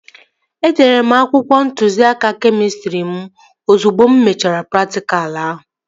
Edere m akwụkwọ ntụziaka kemịstrị mụ ozugbo e mechara praktikal ahụ